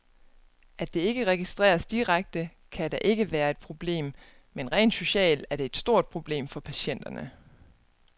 At det ikke registreres direkte, kan da ikke være et problem, men rent socialt er det et stort problem for patienterne.